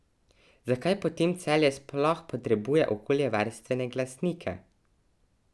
Zakaj potemtakem Celje sploh potrebuje okoljevarstvene glasnike?